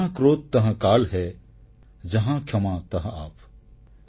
ଜହାଁ କ୍ରୋଧ୍ ତହଁ କାଲ୍ ହେ ଜହାଁ କ୍ଷମା ତହଁ ଆପ୍